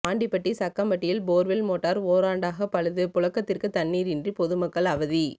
ஆண்டிபட்டி சக்கம்பட்டியில் borewell motor ஓராண்டாக பழுது புழக்கத்திற்கு தண்ணீரின்றி பொதுமக்கள் அவதி